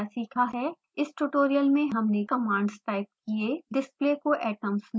इस ट्यूटोरियल में हमने कमांड्स टाइप किये display को atoms में बदलने के लिए